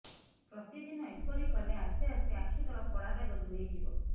ପ୍ରତିଦିନ ଏପରି କଲେ ଆସ୍ତେ ଆସ୍ତେ ଆଖି ତଳ କଳାଦାଗ ଦୂରେଇ ଯିବ